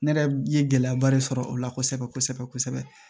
Ne yɛrɛ ye gɛlɛyaba de sɔrɔ o la kosɛbɛ kosɛbɛ